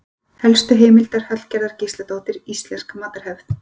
Helstu heimildir: Hallgerður Gísladóttir: Íslensk matarhefð.